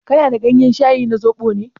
Kana da gayen shayi na zobo ne?